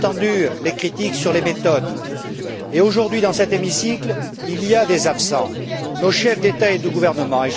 J'ai bien entendu les critiques sur les méthodes. Aujourd'hui, dans cet hémicycle, il y a des absents nos chefs d'État et de gouvernement.